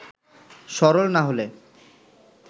সরল না হলে